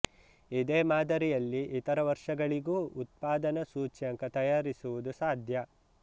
ಇದೇ ಮಾದರಿಯಲ್ಲಿ ಇತರ ವರ್ಷಗಳಿಗೂ ಉತ್ಪಾದನ ಸೂಚ್ಯಂಕ ತಯಾರಿಸುವುದು ಸಾಧ್ಯ